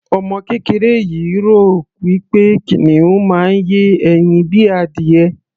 Ọmọ kéreké yìí rò wí pé kìnìún máa ń yé ẹyin bíi adìyẹ.